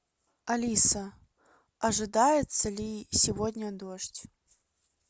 алиса ожидается ли сегодня дождь